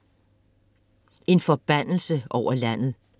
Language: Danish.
En forbandelse over landet